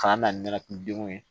K'an na ni ne denw ye